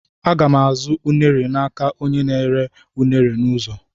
Àga m azụ m unere n'aka onyenna-ere unere n'ụzọ.